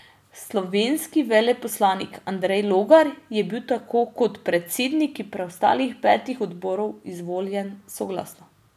Slovenski veleposlanik Andrej Logar je bil tako kot predsedniki preostalih petih odborov izvoljen soglasno.